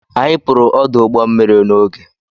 Anyị pụrụ ọdụ ụgbọ mmiri n'oge.